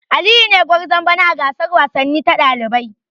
Aliyu ne gwarzon bana a gasar wasanni ta dalibai.